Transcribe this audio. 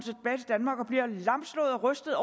rystet